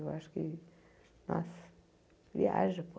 Eu acho que, nossa, viaja, pô.